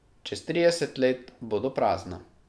Čez trideset let bodo prazna.